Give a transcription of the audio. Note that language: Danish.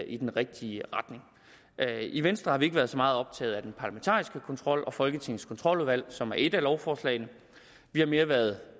i den rigtige retning i venstre har vi ikke været så meget optaget af den parlamentariske kontrol og folketingets kontroludvalg som er et af lovforslagene vi har mere været